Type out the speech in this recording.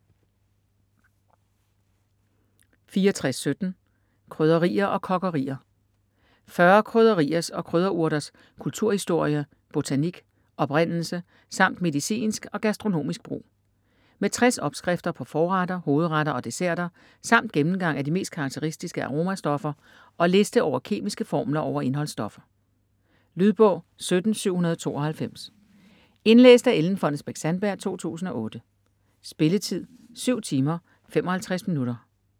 64.17 Krydderier & kokkerier 40 krydderiers og krydderurters kulturhistorie, botanik, oprindelse samt medicinsk og gastronomisk brug. Med 60 opskrifter på forretter, hovedretter og desserter samt gennemgang af de mest karakteristiske aromastoffer og liste over kemiske formler over indholdsstoffer. Lydbog 17792 Indlæst af Ellen Fonnesbech-Sandberg, 2008. Spilletid: 7 timer, 55 minutter.